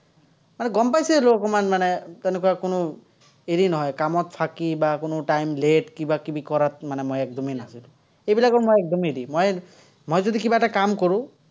মানে গম পাইছেই আৰু, অকণমান মানে, তেনেকুৱা কোনো হেৰি নহয়, কামত ফাকি বা কোনো time late কিবা-কিবি কৰাত, মানে মই একদমেই নাছিলো। সেইবিলাকৰ মই একদম হেৰি, মই, মই যদি কিবা এটা কাম কৰো